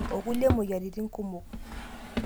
Okulie moyiaritin kumok.